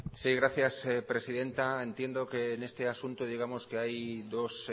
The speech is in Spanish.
sí gracias presidenta entiendo que en este asunto digamos que hay dos